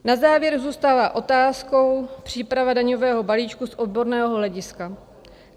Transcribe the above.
Na závěr zůstává otázkou příprava daňového balíčku z odborného hlediska.